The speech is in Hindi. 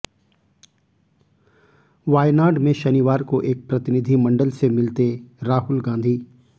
वायनाड में शनिवार को एक प्रतिनिधिमंडल से मिलते राहुल गांधी